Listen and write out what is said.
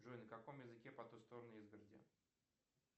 джой на каком языке по ту сторону изгороди